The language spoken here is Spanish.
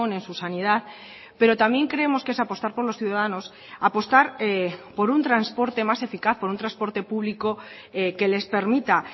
en su sanidad pero también creemos que es apostar por los ciudadanos apostar por un transporte más eficaz por un transporte público que les permita